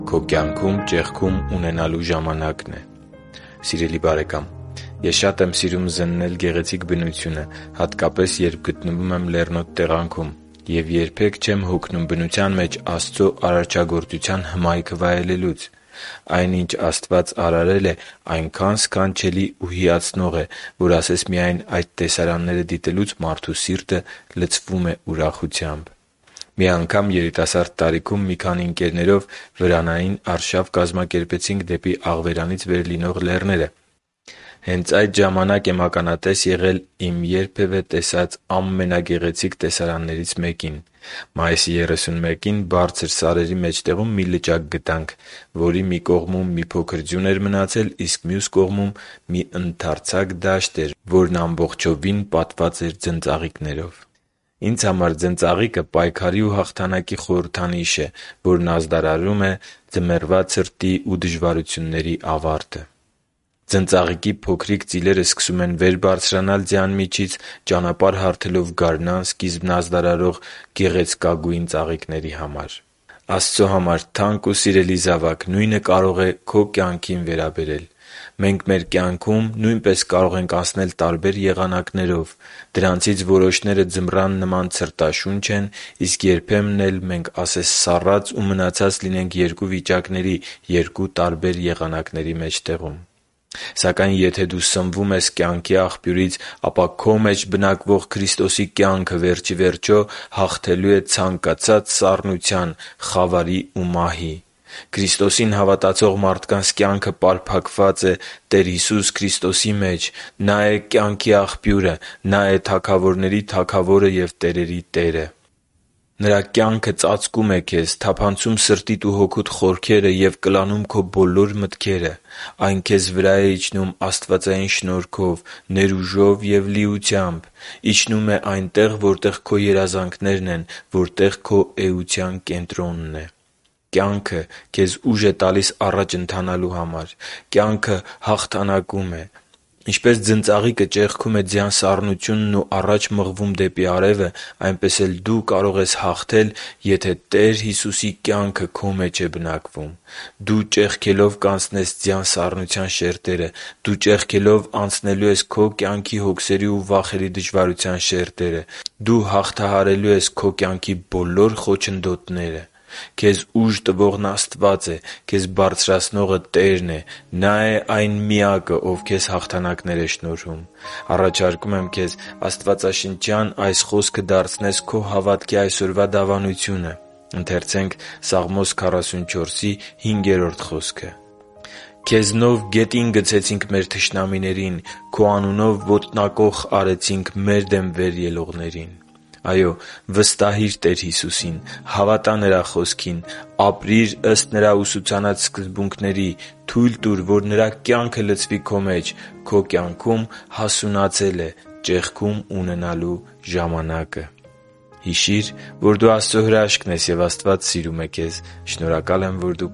Քո կյանքում ճեղքում ունենալու ժամանակն է Սիրելի՛ բարեկամ, ես շատ եմ սիրում զննել գեղեցիկ բնությունը, հատկապես, երբ գտնվում եմ լեռնոտ տեղանքում, և երբե՛ք չեմ հոգնում բնության մեջ Աստծո արարչագործության հմայքը վայելելուց։ Այն ինչ Աստված արարել է, այնքա՜ն սքանչելի ու հիացնող է, որ ասես միայն այդ տեսարանները դիտելուց մարդու սիրտը լցվում է ուրախությամբ։ Մի անգամ երիտասարդ տարիքում մի քանի ընկերներով վրանային արշավ կազմակերպեցինք դեպի Աղվերանից վեր լինող լեռները։ Հենց այդ ժամանակ եմ ականատես եղել իմ երբևէ տեսած ամենագեղեցիկ տեսարաններից մեկին։ Մայիսի 31-ին բարձր սարերի մեջտեղում մի լճակ գտանք, որի մի կողմում մի փոքր ձյուն էր մնացել, իսկ մյուս կողմում՝ մի ընդարձակ դաշտ, որը ամբողջովին լեցուն էր ձնծաղիկներով։ Ինձ համար ձնծաղիկը պայքարի ու հաղթանակի խորհրդանիշ է՝ ձմեռվա ցրտի ու դժվարությունների ավարտի ազդարարարը։ Ձնծաղիկի փոքրիկ ծիլերը սկսում են վեր բարձրանալ ձյան միջից՝ ճանապարհ հարթելով գարնան սկիզբն ազդարարող գեղեցկագույն ծաղիկների համար։ Աստծո համար թանկ ու սիրելի՛ զավակ, նույնը կարող է քո կյանքին վերաբերել: Մենք մեր կյանքում նույնպես կարող ենք անցնել տարբեր եղանակներով։ Դրանցից որոշները ձմռան նման ցրտաշունչ են։ Իսկ երբեմն էլ մենք ասես սառած ու մնացած լինենք երկու վիճակների՝ երկու տարբեր եղանակների մեջտեղում… Սակայն եթե դու սնվում ես կյանքի աղբյուրից, ապա քո մեջ բնակվող Քրիստոսի կյանքը, վերջիվերջո, հաղթելու է ցանկացած սառնության, խավարի ու մահի։ Քրիստոսին հավատացող մարդկանց կյանքը պարփակված է Տեր Հիսուս Քրիստոսի մեջ։ Նա է կյանքի Աղբյուրը։ Նա է թագավորների Թագավորը և տերերի Տերը։ Նրա կյանքը ծածկում է քեզ, թափանցում սրտիդ ու հոգուդ խորքերը և կլանում քո բոլոր մտքերը։ Այն քեզ վրա է իջնում աստվածային շնորհքով, ներուժով և լիությամբ։ Իջնում է այնտեղ, որտեղ քո երազանքներն են, որտեղ քո էության կենտրոնն է։ Կյանքը քեզ ուժ է տալիս առաջ ընթանալու։ Կյանքը հաղթանակում է։ Ինչպես ձնծաղիկը ճեղքում է ձյան սառնությունն ու առաջ մղվում դեպի արևը, այնպես էլ դու կարող ես հաղթել, եթե Տեր Հիսուսի կյանքը քո մեջ է բնակվում։ Դու ճեղքելով կանցնես ձյան սառնության շերտերը։ Դու ճեղքելով անցնելու ես քո կյանքի հոգսերի ու վախերի դժվարության շերտերը։ Դու հաղթահարելու ես քո կյանքի բոլոր խոչընդոտները։ Քեզ ուժ տվողն Աստվա՛ծ է։ Քեզ բարձրացնողը Տե՛րն է. Նա է այն Միակը, Ով քեզ հաղթանակներ է շնորհում։ Առաջարկում եմ քեզ աստվածաշնչյան այս խոսքը դարձնես քո հավատքի այսօրվա դավանությունը. «Քեզնով գետին գցեցինք մեր թշնամիներին, Քո անունով ոտնակոխ արեցինք մեր դեմ վեր ելնողներին» (Սաղմոս 44.5): Այո՛, վստահի՛ր Տեր Հիսուսին։ Հավատա՛ Նրա Խոսքին։ Ապրի՛ր ըստ Նրա ուսուցանած սկզբունքների։ Թո՛ւյլ տուր, որ Նրա կյանքը լցվի քո մեջ։ Քո կյանքում հասունացել է ճեղքում ունենալու ժամանակը։ Հիշի՛ր, որ դու Աստծո հրաշքն ես, և Աստված սիրում է քեզ։ Շնորհակալ եմ, որ դու